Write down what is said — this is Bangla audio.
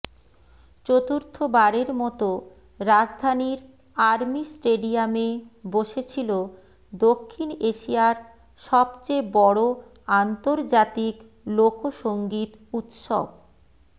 চতুর্থবারের মতো রাজধানীর আর্মি স্টেডিয়ামে বসেছিল দক্ষিণ এশিয়ার সবচেয়ে বড় আন্তর্জাতিক লোকসংগীত উৎসব